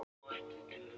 Hún er vond.